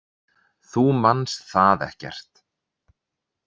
Þú manst það ekkert.